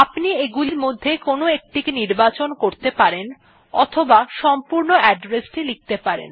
আপনি এগুলির মধ্যে কোনো একটিকে নির্বাচন করতে পারেন অথবা সম্পূর্ণ address টি লিখতে পারেন